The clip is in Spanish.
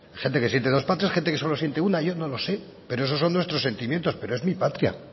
gente que siente dos patrias gente que solo siente una yo no lo sé pero esos son nuestros son nuestros sentimientos pero es mi patria